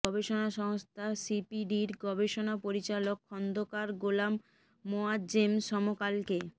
গবেষণা সংস্থা সিপিডির গবেষণা পরিচালক খন্দকার গোলাম মোয়াজ্জেম সমকালকে